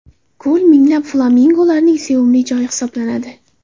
Ko‘l minglab flamingolarning sevimli joyi hisoblanadi.